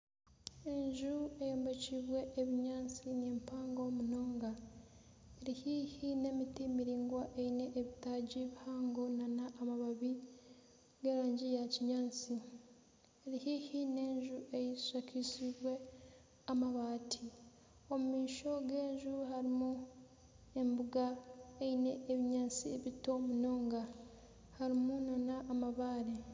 Enju eyombekirwe ebinyaatsi ni mpango munonga. Eri haihi n'eimiti miraingwa eine ebitaagi bihango n'amababi g'erangi ya kinyaatsi. Eri haihi n'enju eshakariziibwe amabaati. Omu maisho g'enju harimu embuga eine ebinyaaatsi bito munonga harimu n'amabaare.